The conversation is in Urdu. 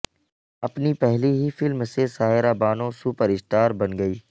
اپنی پہلی ہی فلم سے سائرہ بانو سپر اسٹار بن گئی